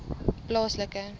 plaaslike